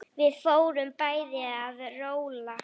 Við fórum bæði að róla.